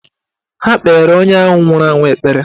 Ha kpeere onye ahụ nwụrụ anwụ ekpere.